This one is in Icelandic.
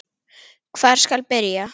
Hvar skal byrja?